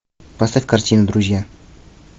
поставь картину друзья